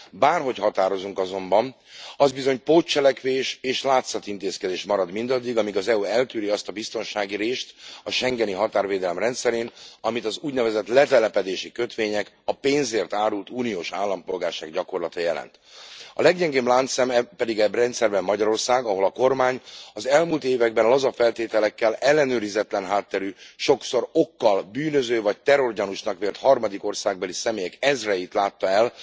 Bárhogy határozunk azonban, az bizony pótcselekvés és látszatintézkedés marad mindaddig, amíg az EU eltűri azt a biztonsági rést a schengeni határvédelem rendszerén, amit az úgynevezett letelepedési kötvények, a pénzért árult uniós állampolgárság gyakorlata jelent. A leggyengébb láncszem pedig e rendszerben Magyarország, ahol a kormány az elmúlt években laza feltételekkel ellenőrizetlen hátterű, sokszor okkal bűnöző vagy terrorgyanúsnak vélt harmadik országbeli személyek ezreit látta el